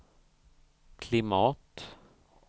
klimat